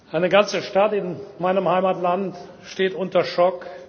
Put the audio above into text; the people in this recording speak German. Eine ganze Stadt in meinem Heimatland steht unter Schock.